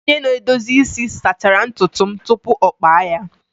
Onye na-edozi isi sachara ntutu m tupu ọ kpa ya.